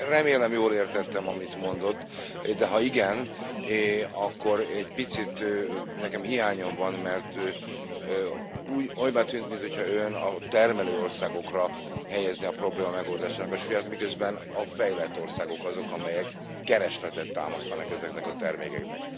Én remélem jól értettem, amit mondott, de ha igen, akkor egy picit nekem hiányom van, mert olybá tűnt, mintha ön a termelő országokra helyezné a probléma megoldásának a súlyát, miközben a fejlett országok azok, amelyek keresletet támasztanak ezeknek a termékeknek.